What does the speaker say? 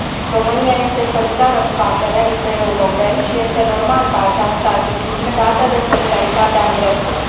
România este solidară cu partenerii săi europeni și este normal ca această atitudine să fie dublată de solidaritatea în drepturi.